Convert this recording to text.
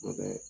Kuma bɛɛ